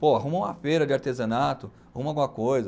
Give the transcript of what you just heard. Pô, arruma uma feira de artesanato, arruma alguma coisa.